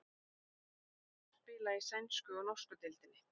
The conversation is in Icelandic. Hver er munurinn á að spila í sænsku og norsku deildinni?